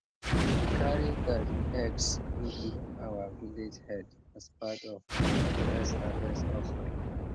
we carry garden eggs go give our village head as part of our first harvest offering